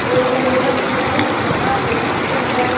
और यह बहुत बड़ा हॉस्पिटल है।